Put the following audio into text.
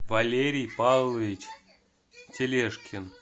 валерий павлович тележкин